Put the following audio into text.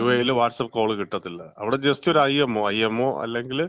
യുഎഇയില് WhatsApp call കിട്ടത്തില്ല. അവിടെ just ഒരു ഐഎംഒ, ഐഎംഒ അല്ലെങ്കില്,